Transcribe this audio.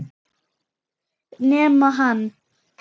Nema hann.